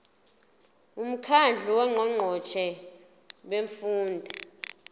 umkhandlu wongqongqoshe bemfundo